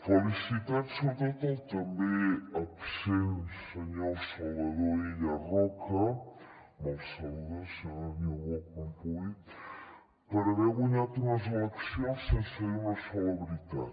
felicitats sobretot al també absent senyor salvador illa roca me’l saluda senyora niubó quan pugui per haver guanyat unes eleccions sense dir una sola veritat